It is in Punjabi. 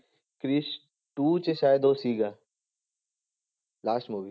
ਕ੍ਰਿਸ two 'ਚ ਸ਼ਾਇਦ ਉਹ ਸੀਗਾ last movie